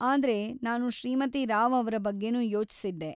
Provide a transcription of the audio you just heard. ಆದ್ರೆ, ನಾನು ಶ್ರೀಮತಿ ರಾವ್‌ ಅವ್ರ ಬಗ್ಗೆನೂ ಯೋಚ್ಸಿದ್ದೆ.